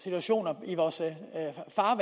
i vores af